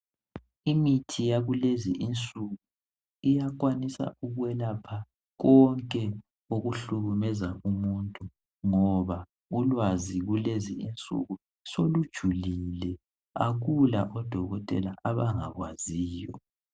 Imithi yakulezi insuku iyakwanisa ukwelapha konke okuhlukumeza umuntu ngoba ulwazi kulezi insuku solujulile. Akula odokotela abangakwaziyo.